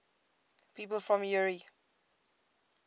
people from eure